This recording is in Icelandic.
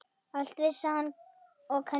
Allt vissi hann og kunni.